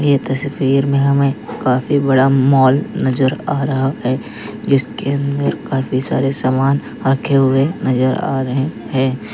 ये तस्वीर में हमें काफी बड़ा मॉल नजर आ रहा है जिसके अंदर काफी सारे सामान रखे हुए नजर आ रहे हैं।